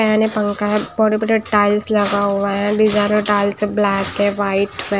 नया-नया पंखा है बड़े-बड़े टाइल्स लगा हुआ है लिज़ेरो टाइल्स हैब्लैक है व्हाइट है फेब --